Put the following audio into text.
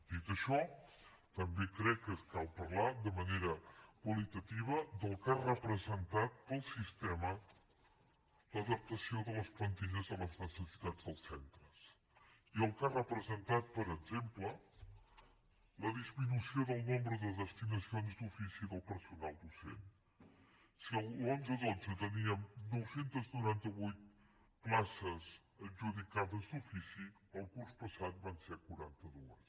dit això també crec que cal parlar de manera qualitativa del que ha representat per al sistema l’adaptació de les plantilles a les necessitats dels centres i el que ha representat per exemple la disminució del nombre de destinacions d’ofici del personal docent si l’onze dotze teníem nou cents i noranta vuit places adjudicades d’ofici el curs passat van ser quaranta dos